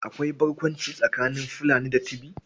Akwai barkwanci tsakanin Fulani da Tibi.